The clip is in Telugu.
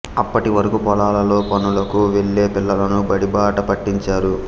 అప్పటి వరకు పొలాలలో పనులకు వెళ్ళే పిల్లలను బడిబాట పట్టించారు